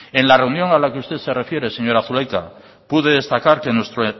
en la reunión a la que usted se refiere señora zulaika pude destacar que nuestro